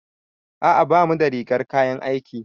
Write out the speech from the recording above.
A'a bamu da rigar kayan aiki.